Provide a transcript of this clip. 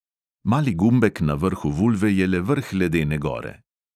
Mali gumbek na vrhu vulve je le vrh ledene gore.